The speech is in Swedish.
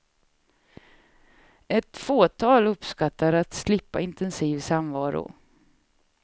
Ett fåtal uppskattar att slippa intensiv samvaro.